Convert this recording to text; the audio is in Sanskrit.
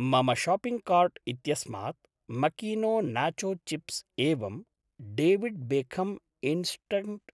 मम शाप्पिङ्ग् कार्ट् इत्यस्मात् मकीनो नाचो चिप्स् एवं डेविड् बेखम् इन्स्ट्ङ्क्ट्